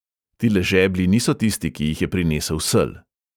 Tile žeblji niso tisti, ki jih je prinesel sel!